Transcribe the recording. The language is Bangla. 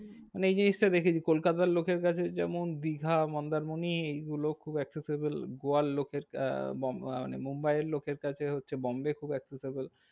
মানে এই জিনিসটা দেখেছি কলকাতার লোকের কাছে যেমন দিঘা মন্দারমণি এইগুলো খুব accessible. গোয়ার লোকের আহ বোম্বে মানে মুম্বাইয়ের লোকের কাছে হচ্ছে বোম্বে খুব accessible.